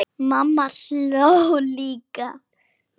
Mamma hló líka.